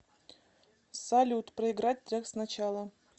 салют проиграть трек сначала